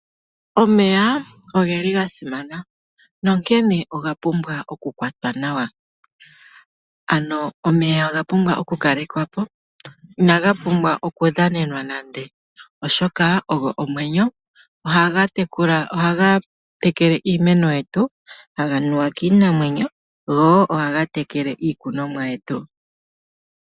Omeya ogeli ga simana nonkene oga pumbwa oku kwatwa nawa. Ano omeya oga pumbwa oku kalekwa po, inaga pumbwa oku dhanenwa nande, oshoka oho omwenyo. Ohaga tekele iimeno yetu, taga nuwa kiinamwenyo, go ohaga tekele iikunwa yetu.